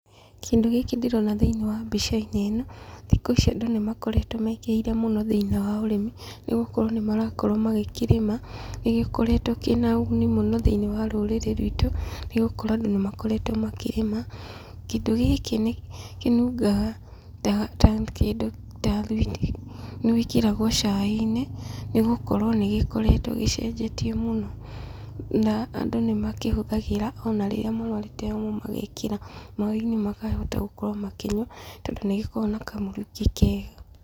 Kĩndũ gĩkĩ ndĩrona thĩinĩ wa mbica-inĩ ĩno, thikũ ici andũ nĩ makoretwo mekĩrĩire mũno thĩinĩ wa ũrĩmi, nĩgũkorwo nĩ marakorwo magĩkĩrĩma, nĩ gĩkoretwo kĩna ũguni mũno thĩinĩ wa rũrĩrĩ rwitũ, nĩ gũkorwo andũ nĩ makoretwo makĩrĩma. Kĩndũ gĩkĩ nĩ kĩnungaga ta kĩndũ ta thwiti, nĩ wĩkĩragwo cai-inĩ, nĩ gũkorwo nĩ gĩkoretwo gĩcenjetie mũno, na andũ nĩ makĩhũthagĩra ona rĩrĩa marwarĩte homa magekĩra maĩ-inĩ makahota gũkorwo makĩnyua, tondũ nĩ gĩkoragwo na kamũrukĩ kega.